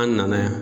An nana yan